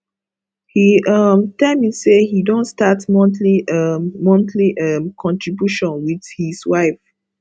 he um tell me say he don start monthly um monthly um contribution with his wife